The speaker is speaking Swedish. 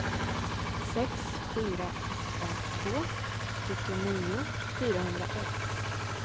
sex fyra åtta två sjuttionio fyrahundraett